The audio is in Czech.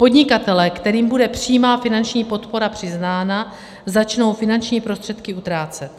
Podnikatelé, kterým bude přímá finanční podpora přiznána, začnou finanční prostředky utrácet.